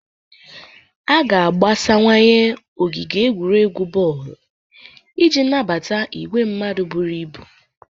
A ga-agbasawanye ogige egwuregwu bọọlụ iji nabata igwe mmadụ buru ibu.